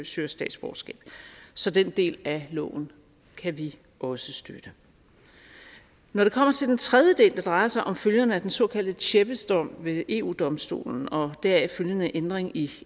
søger statsborgerskab så den del af loven kan vi også støtte når det kommer til den tredje del der drejer sig om følgerne af den såkaldte tjebbesdom ved eu domstolen og deraf følgende ændring i